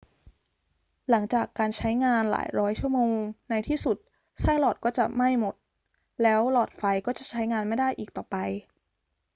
หลังจากการใช้งานหลายร้อยชั่วโมง ในที่สุดไส้หลอดก็จะไหม้จนหมด แล้วหลอดไฟก็จะใช้งานไม่ได้อีกต่อไป